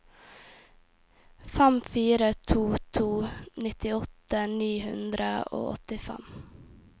fem fire to to nittiåtte ni hundre og åttifem